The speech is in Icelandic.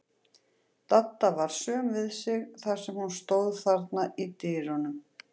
Dadda var söm við sig þar sem hún stóð þarna í dyrunum.